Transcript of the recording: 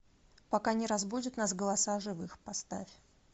пока не разбудят нас голоса живых поставь